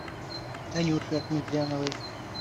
танюше ахметзяновой